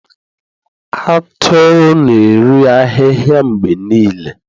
Atụrụ na-eri ahịhịa mgbe niile